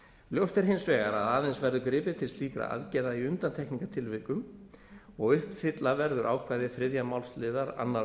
ljóst er hins vegar að aðeins verður gripið til slíkra aðgerða í undantekningartilvikum og uppfylla verður ákvæði þriðju málsl annarri